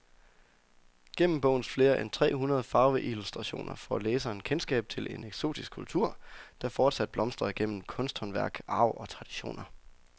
Gennem bogens flere end tre hundrede farveillustrationer får læseren kendskab til en eksotisk kultur, der fortsat blomstrer gennem kunsthåndværk, arv og traditioner.